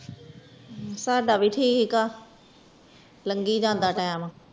ਸਦਾ ਵੀ ਤਰਹਿਕ ਆ ਲੰਘੀ ਜਂਦਾ ਟੀਮ